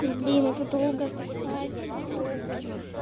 блин это долго писать но попробую